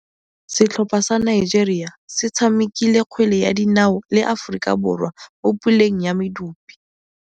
Setlhopha sa Nigeria se tshamekile kgwele ya dinaô le Aforika Borwa mo puleng ya medupe.